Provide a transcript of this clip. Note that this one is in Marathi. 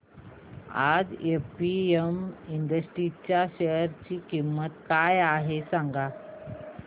आज एपीएम इंडस्ट्रीज च्या शेअर ची किंमत काय आहे सांगा